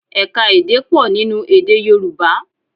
Ẹ̀ka-èdè pọ̀ nínú èdè Yorùbá